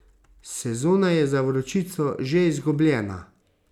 Sezona je za Vročico že izgubljena.